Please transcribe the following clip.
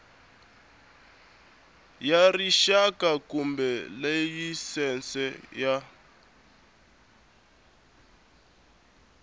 ya rixaka kumbe layisense ya